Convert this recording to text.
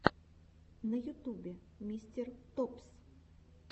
на ютубе мистер топс